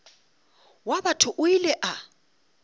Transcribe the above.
wa batho o ile a